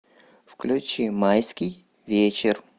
включи майский вечер